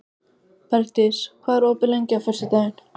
Bergdís, hvað er opið lengi á föstudaginn?